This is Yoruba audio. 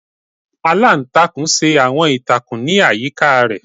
Aláǹtakùn ṣe awọn ìtakùn ni ayika ilé.